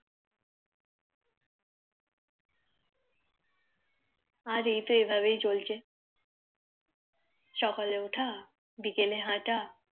আর এত এভাবেই চলছে সকালে উঠা বিকেলে হাঁটা